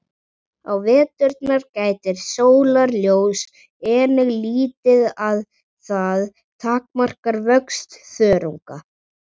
Á veturna gætir sólarljóss einnig lítið og það takmarkar vöxt þörunga.